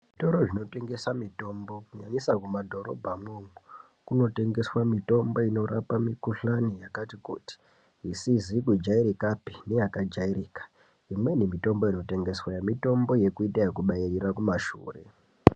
Toro zvinotengesa mitombo nyanyisa mumadhorobhamwo kunotengeswe mitombo inorape mikhuhlani yakati kuti isizi kujairika pe neyakajairika imweni mitombo inotengesweyo mitombo yekuita kubairira kumashure.